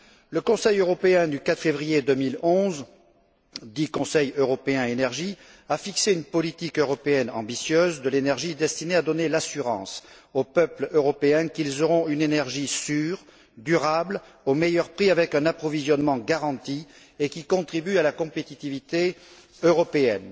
Le Conseil européen du 4 février 2011, dit Conseil européen Énergie, a fixé une politique européenne ambitieuse de l'énergie destinée à donner l'assurance aux peuples européens qu'ils auront une énergie sûre, durable, au meilleur prix avec un approvisionnement garanti et qui contribue à la compétitivité européenne.